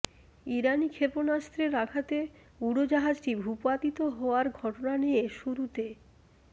ইরানি ক্ষেপণাস্ত্রের আঘাতে উড়োজাহাজটি ভূপাতিত হওয়ার ঘটনা নিয়ে শুরুতে